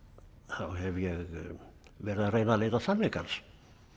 hef ég verið að reyna að leita sannleikans